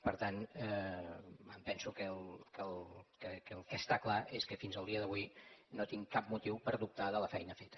per tant em penso que el que està clar és que fins al dia d’avui no tinc cap motiu per dubtar de la feina feta